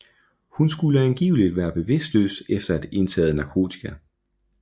Hun skulle angiveligt være bevidstløs efter at have indtaget narkotika